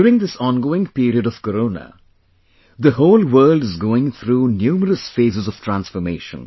During this ongoing period of Corona, the whole world is going through numerous phases of transformation